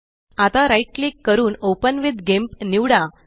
आता right click करून open with GIMP निवडा